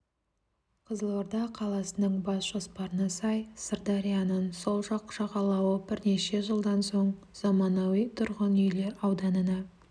қызылорда қаласының бас жоспарына сай сырдарьяның сол жақ жағалауы бірнеше жылдан соң заманауи тұрғын үйлер ауданына